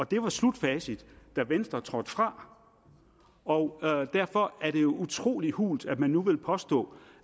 det var slutfacit da venstre trådte fra og derfor er det jo utrolig hult at man nu vil påstå